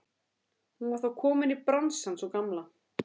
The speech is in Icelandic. Hún var þá komin í bransann sú gamla!